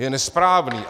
Je nesprávný.